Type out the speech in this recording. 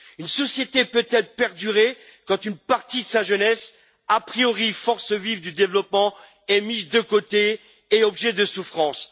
Une société peut elle perdurer quand une partie de sa jeunesse, a priori force vive du développement, est mise de côté et fait l'objet de souffrances.